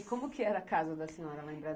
E como que era a casa da senhora lá em